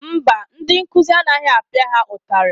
Mba, ndị nkụzi anaghị apịa ha ụtarị.